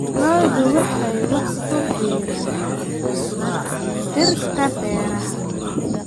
Lo'du waxay wax ku biirin kartaa dhirta-beeraha.